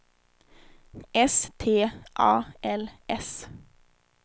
S T A L S